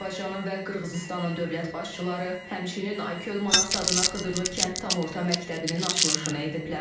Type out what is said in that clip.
Azərbaycanın və Qırğızıstanın dövlət başçıları həmçinin Aygül Manas adına Xıdırlı kənd tam orta məktəbinin açılışını ediblər.